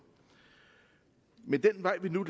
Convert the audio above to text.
men den vej vi nu